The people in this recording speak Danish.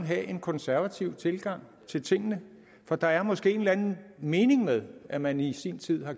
have en konservativ tilgang til tingene for der er måske en eller anden mening med at man i sin tid har